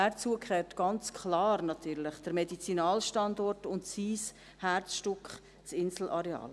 Dazu gehört natürlich ganz klar der Medizinalstandort und sein Herzstück, das Inselareal.